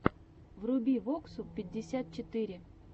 вруби воксу пятьдесят четыре